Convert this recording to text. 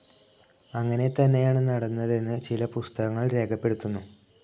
അങ്ങനെതന്നെയാണ് നടന്നതെന്ന് ചില പുസ്തകങ്ങൾ രേഖപ്പെടുത്തുന്നു.